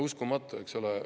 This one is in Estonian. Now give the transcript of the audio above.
Uskumatu, eks ole.